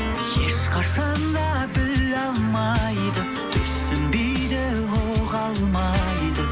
ешқашан да біле алмайды түсінбейді ұға алмайды